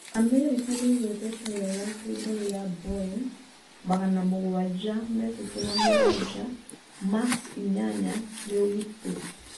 Amerika nĩ ĩgwetete wega atĩ ndege ya Boeing 737 Max 8 nĩ ũgitĩri